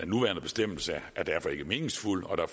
nuværende bestemmelse er derfor ikke meningsfuld og det